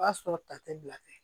O b'a sɔrɔ ta tɛ bila tɛ